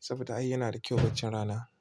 saboda ai yana da kyau baccin rana.